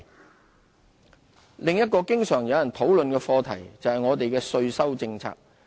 稅務政策另一個經常有人討論的課題，就是我們的稅收政策。